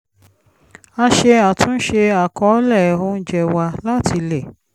a ṣe àtúnṣe àkọ̀ọ́lẹ̀ oúnjẹ wa láti lè